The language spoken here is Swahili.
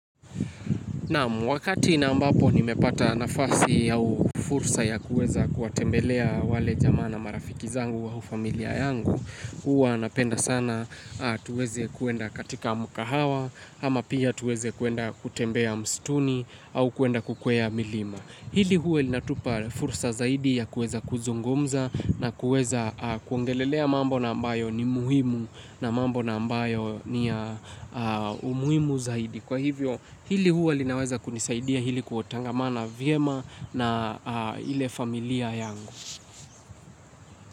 Naam, wakati na ambapo nimepata nafasi au fursa ya kuweza kuwatembelea wale jamaa na marafiki zangu au familia yangu, huwa napenda sana tuweze kuenda katika mkahawa, ama pia tuweze kuenda kutembea msituni au kuenda kukwea milima. Hili huwa linatupa fursa zaidi ya kuweza kuzungumza na kuweza kuongelelea mambo na ambayo ni muhimu na mambo na ambayo ni umuhimu zaidi. Kwa hivyo hili huwa linaweza kunisaidia ili kutangamana vyema na ile familia yangu.